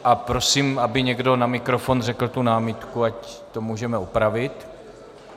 A prosím, aby někdo na mikrofon řekl tu námitku, ať to můžeme opravit.